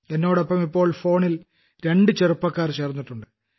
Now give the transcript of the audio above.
എന്നോടൊപ്പം ഇപ്പോൾ ഫോണിൽ രണ്ടു ചെറുപ്പക്കാർ ചേർന്നിട്ടുണ്ട്